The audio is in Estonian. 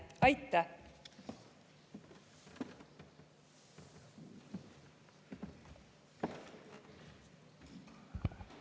Aitäh!